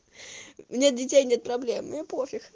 нет детей нет проблем мне пофиг